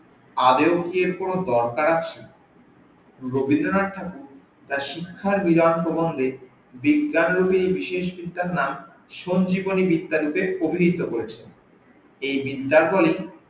আদেও কি এর কোন দরকার আছে রবীন্দ্রনাথ ঠাকুর তার শিক্ষার নিবান প্রবন্ধে বিজ্ঞান রুপি এই বিশেষ বিদ্যার নাম সঞ্জিবনি বিদ্যা রূপে পুথিহিত করেছে, এই বিদ্যার ফলে